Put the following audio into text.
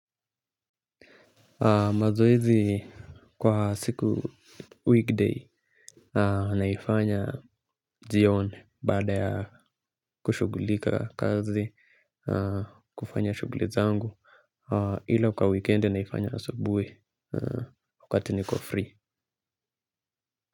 Mazoezi kwa siku weekday naifanya jione baada ya kushughulika kazi kufanya shughulizangu ila kwa weekend naifanya asubuhi wakati niko free.